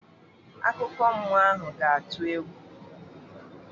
Akụkọ mmụọ ahụ ga-atụ egwu.